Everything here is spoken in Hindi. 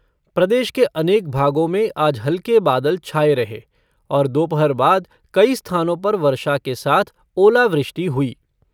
प्रदेश के अनेक भागों में आज हल्के बाद छाए रहे और दोपहर बाद कई स्थानों पर वर्षा के साथ ओलावृष्टि हुई।